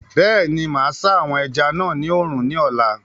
Bẹ́ẹ̀ni, máa sá àwọn ẹja náà ní oòrùn ní ọ̀la